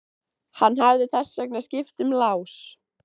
Hann hefði þess vegna skipt um lás.